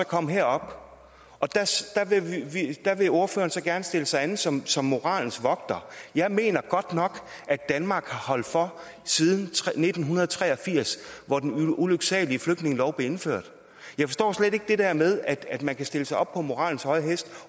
komme herop og her vil ordføreren så gerne stille sig an som som moralens vogter jeg mener godt nok at danmark har holdt for siden nitten tre og firs hvor den ulyksalige flygtningelov blev indført jeg forstår slet ikke det der med at man kan sætte sig op på moralens høje hest